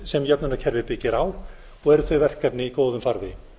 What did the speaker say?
sem jöfnunarkerfið byggir á og eru þau verkefni í góðum farvegi